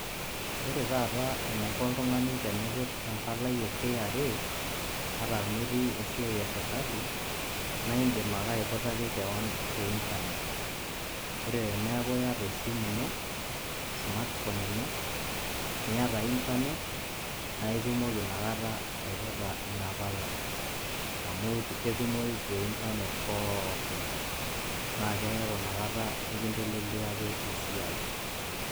Ore tataa enaiko oltung'ani teneiput empalai e kra ata metii esiai eserkali naaidim ake aiputaki kewon teintanet. Ore teneaku iyata esimu ino, smartphone ino niata  intanet, naitumoki nakata aiputa inapalai amu ketumoyu teintanet pookin, naakeaku nakata ekinteleliaki esiai.